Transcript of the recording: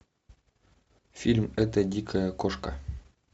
фильм эта дикая кошка